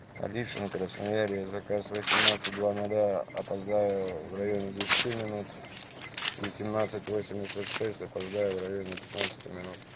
конечно красноярье заказ восемнадцать два ноля опоздаю в районе десяти минут восемнадцать восемьдесят шесть опоздаю в районе пятнадцати минут